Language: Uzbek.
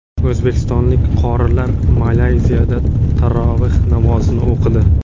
O‘zbekistonlik qorilar Malayziyada taroveh namozini o‘qidi.